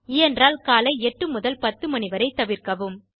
இயன்றால் காலை 8 முதல் 10 மணி வரை தவிர்க்கவும்